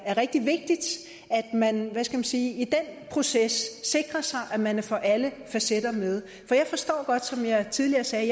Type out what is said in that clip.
er rigtig vigtigt at man hvad skal jeg sige i den proces sikrer sig at man får alle facetter med for som jeg tidligere sagde